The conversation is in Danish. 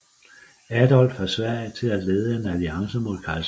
Adolf af Sverige til at lede en alliance mod kejseren